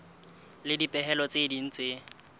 le dipehelo tse ding tse